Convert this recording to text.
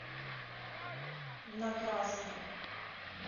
на красном